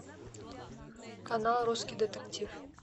канал русский детектив